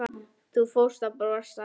Og þú fórst að brosa.